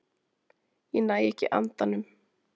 Ég næ ekki andanum.